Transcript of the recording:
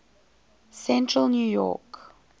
central new york